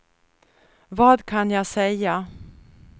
vad kan jag säga